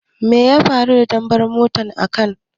Me ya faru da bambar motan ka?